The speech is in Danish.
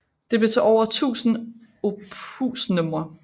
Det blev til over 1000 opusnumre